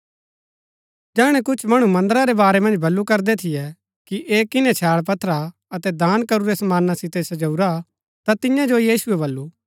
जैहणै कुछ मणु मन्दरा रै वारै मन्ज बल्लू करदै थियै कि ऐह किन्है छैळ पत्थरा अतै दान करूरै समाना सितै सजाऊरा ता तियां जो यीशुऐ वलु